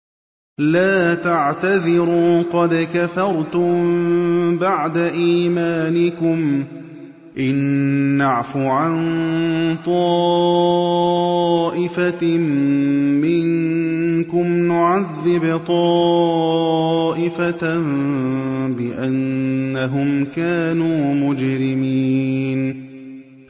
لَا تَعْتَذِرُوا قَدْ كَفَرْتُم بَعْدَ إِيمَانِكُمْ ۚ إِن نَّعْفُ عَن طَائِفَةٍ مِّنكُمْ نُعَذِّبْ طَائِفَةً بِأَنَّهُمْ كَانُوا مُجْرِمِينَ